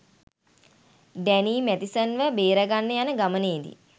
Danny Mathison ව බේරගන්න යන ගමනේදී